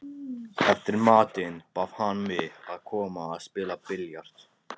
Eftir matinn bað hann mig að koma að spila billjard.